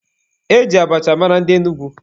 E ji abacha mara ndị Enugwu.